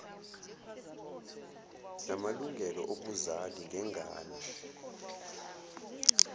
namalungelo obuzali ngengane